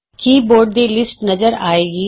keyboards ਦੀ list ਨਜ਼ਰ ਆਏਗੀ